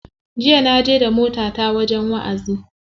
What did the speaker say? Jiya na je da motata wajen wa'azi.